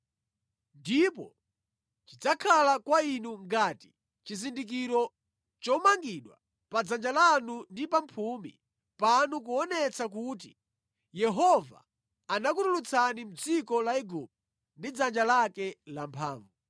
Ndipo chidzakhala kwa inu ngati chizindikiro chomangidwa pa dzanja lanu ndi pamphumi panu kuonetsa kuti Yehova anakutulutsani mʼdziko la Igupto ndi dzanja lake lamphamvu.”